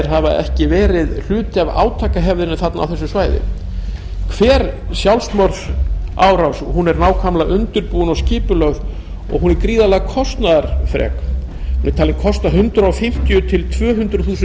hafa ekki verið hluti af átakahefðinni á þessu svæði hver sjálfsmorðsárás er nákvæmlega undirbúin og skipulögð og er gríðarlega kostnaðarfrek hún er talin kosta hundrað fimmtíu til tvö hundruð þúsund